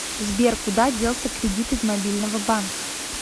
сбер куда делся кредит из мобильного банка